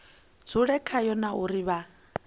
dzule khayo na uri vha